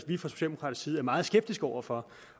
vi fra socialdemokratisk side meget skeptiske over for